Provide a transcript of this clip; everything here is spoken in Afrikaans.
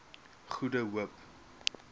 goede hoop